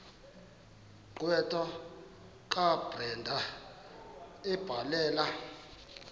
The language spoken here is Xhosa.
gqwetha kabrenda ebhalela